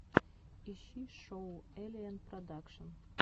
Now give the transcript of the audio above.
ищи шоу эллиэнн продакшн